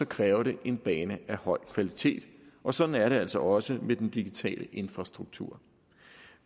kræver det en bane af høj kvalitet og sådan er det altså også med den digitale infrastruktur